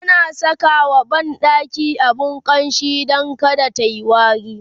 ana Saka wa banɗaki abun ƙamshi Dan kada tayi wari